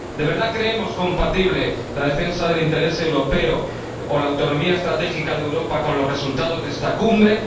¿De verdad creemos compatible la defensa del interés europeo o la autonomía estratégica de Europa con los resultados de esta Cumbre?